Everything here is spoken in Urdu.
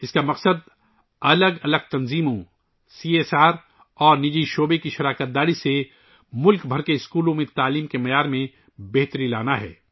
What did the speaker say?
اس کا مقصد مختلف تنظیموں، سی ایس آر اور نجی شعبے کی شراکت سے ملک بھر کے اسکولوں میں تعلیمی معیار کو بہتر بنانا ہے